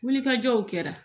Wulikajɔw kɛra